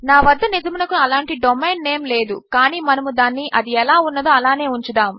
నా వద్ద నిజమునకు అలాంటి డొమెయిన్ నేమ్ లేదు కానీ మనము దానిని అది ఎలా ఉన్నదో అలానే ఉంచుదాము